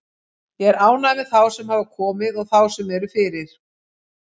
Ég er ánægður með þá sem hafa komið og þá sem eru fyrir.